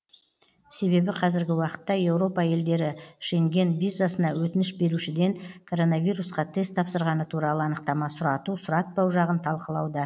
себебі қазіргі уақытта еуропа елдері шенген визасына өтініш берушіден коронавирусқа тест тапсырғаны туралы анықтама сұрату сұратпау жағын талқылауда